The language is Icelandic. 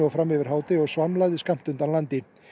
fram yfir hádegi og svamlaði skammt undan landi